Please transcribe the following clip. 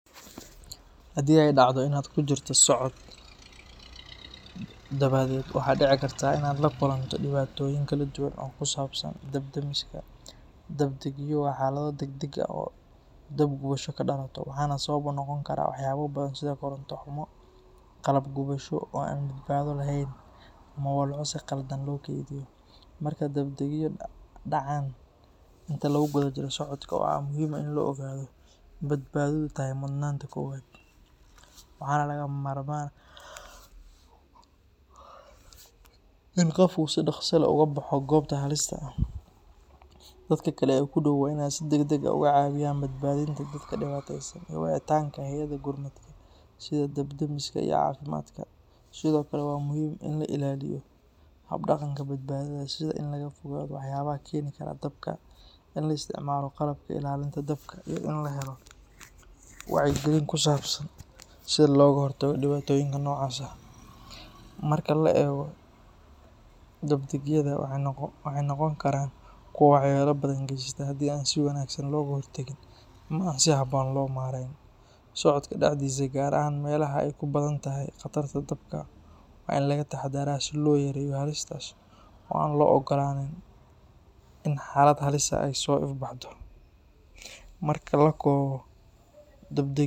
Haddii ay dhacdo in aad ku jirto socod, dabadeed waxaa dhici karta in aad la kulanto dhibaatooyin kala duwan oo ku saabsan dab-damiska. Dab-degyo waa xaalado degdeg ah oo dab gubasho ka dhalato, waxaana sabab u noqon kara waxyaabo badan sida koronto xumo, qalab gubasho oo aan badbaado lahayn, ama walxo si khaldan loo kaydiyo. Marka dab-degyo dhacaan inta lagu guda jiro socodka, waxaa muhiim ah in la ogaado in badbaadadu tahay mudnaanta koowaad, waxaana lagama maarmaan ah in qofku si dhaqso leh uga baxo goobta halista ah. Dadka kale ee ku dhow waa in ay si degdeg ah uga caawiyaan badbaadinta dadka dhibaataysan iyo wicitaanka hay’adaha gurmadka sida dab-demiska iyo caafimaadka. Sidoo kale, waa muhiim in la ilaaliyo hab-dhaqanka badbaadada sida in laga fogaado waxyaabaha keeni kara dabka, in la isticmaalo qalabka ilaalinta dabka, iyo in la helo wacyigelin ku saabsan sida looga hortago dhibaatooyinka noocaas ah. Marka la eego dab-degyada, waxay noqon karaan kuwo waxyeelo badan geysta haddii aan si wanaagsan looga hortagin ama aan si habboon loo maareyn. Socodka dhexdiisa, gaar ahaan meelaha ay ku badan tahay khatarta dabka, waa in laga taxadaraa si loo yareeyo halistaas oo aan loo ogolaanin in xaalad halis ah ay soo ifbaxdo. Marka la soo koobo, dabdegyo.